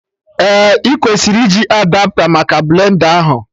Ee, ị kwesịrị iji Adapta maka blend a ahụ